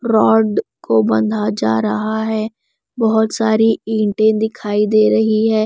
Rod को बंधा जा रहा है बहुत सारी ईंटें दिखाई दे रही है।